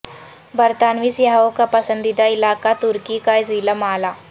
برطانوی سیاحوں کا پسندیدہ علاقہ ترکی کا ضلع معلا